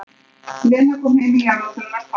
Lena kom heim í jarðarförina hans pabba.